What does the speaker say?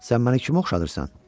Sən məni kimə oxşadırsan?